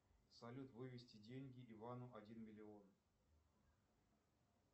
салют вывести деньги ивану один миллион